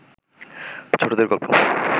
ছোটদের গল্প